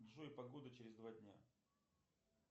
джой погода через два дня